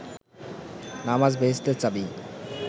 নামাজ বেহেস্তের চাবি